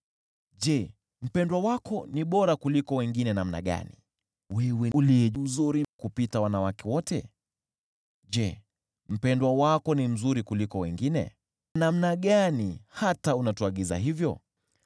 Je, mpendwa wako ni bora kuliko wengine namna gani, wewe uliye mzuri kupita wanawake wote? Je, mpendwa wako ni mzuri kuliko wengine, namna gani, hata unatuagiza hivyo?